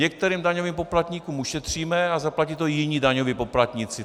Některým daňovým poplatníkům ušetříme a zaplatí to jiní daňoví poplatníci.